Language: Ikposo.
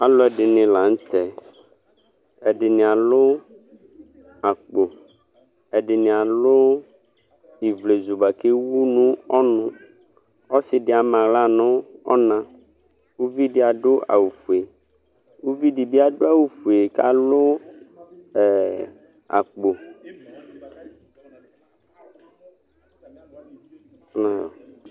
Alʋ ɛdini la nʋ tɛ Ɛdini alʋ akpo, ɛdini alʋ ivlezu boa kʋ ewʋ nʋ ɔnʋ Ɔsi di ama aɣla nʋ ɔna Uvi di adʋ awʋ fue Uvi di bi adʋ awʋ fue kalʋ ɛ akpo